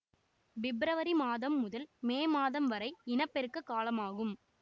பிப்ரவரி மாதம் முதல் மே மாதம் வரை இன பெருக்க காலமாகும்